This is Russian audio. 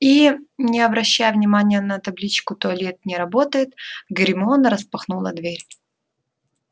и не обращая внимания на табличку туалет не работает гермиона распахнула дверь